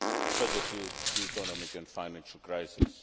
further to the economic and financial crisis.